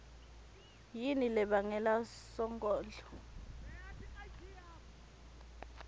yini lebangele sonkondlo